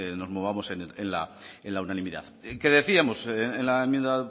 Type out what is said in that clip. nos movamos en la unanimidad qué decíamos en la enmienda